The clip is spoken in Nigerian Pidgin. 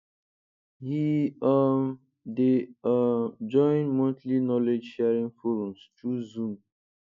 he um dey um join monthly knowledge sharing forums through zoom